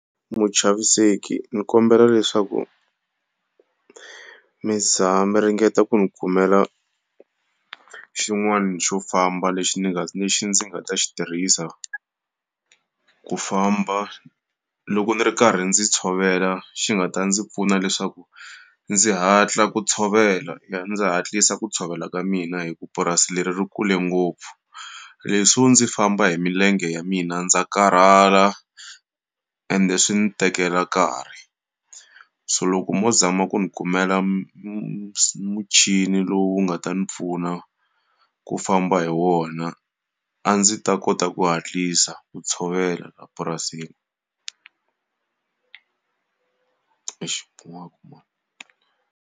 Muchaviseki ndzi kombela leswaku mi mi ringeta ku ndzi khomela xin'wani xo famba lexi ni nga lexi ndzi nga ta xi tirhisa ku famba loko ndzi ri karhi ndzi tshovela xi nga ta ndzi pfuna leswaku ndzi hatla ku tshovela ndzi hatlisa ku tshovela ka mina hikuva purasi leri ri kule ngopfu. Leswo ndzi famba hi milenge ya mina ndza karhala ende swi ndzi tekela karhi. So loko mo zama ku ndzi kumela muchini lowu nga ta ndzi pfuna ku famba hi wona, a ndzi ta kota ku hatlisa ku tshovela laha purasini. Exi .